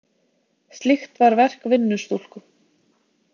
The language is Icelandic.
Slíkt var verk vinnustúlku.